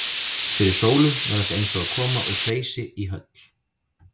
Fyrir Sólu var þetta eins og að koma úr hreysi í höll.